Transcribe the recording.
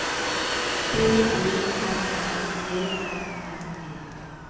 D O M M E R N E